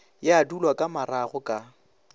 ya dulwa ka marago ka